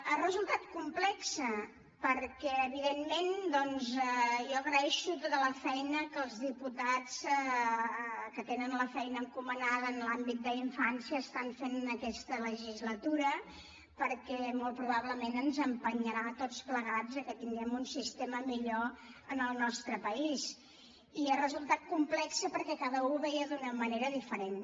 ha resultat complex perquè evidentment doncs jo agraeixo tota la feina que els diputats que tenen la feina encomanada en l’àmbit d’infància estan fent aquesta legislatura perquè molt probablement ens empenyerà a tots plegats a que tinguem un sistema millor en el nostre país i ha resultat complex perquè cada u ho veia d’una manera diferent